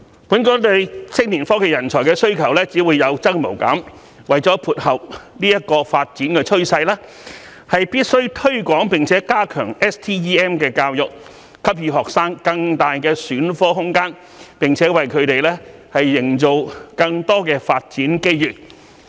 本港對青年科技人才的需求只會有增無減，為了配合這個發展趨勢，必須推廣並加強 STEM 教育，給予學生更大的選科空間，並為他們營造更多發展機遇。